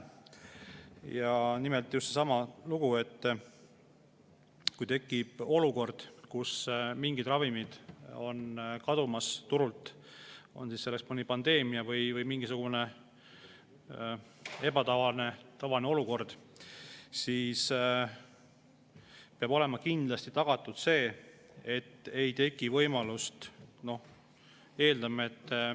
Nimelt, just seesama lugu, et kui tekib olukord, kus mingid ravimid on turult kadumas – on see siis mõni pandeemia või mingisugune ebatavaline olukord –, siis peab olema kindlasti tagatud see, et ei teki võimalust.